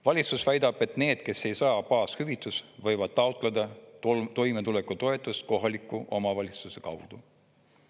Valitsus väidab, et need, kes ei saa baashüvitist, võivad taotleda toimetulekutoetust kohaliku omavalitsuse kaudu.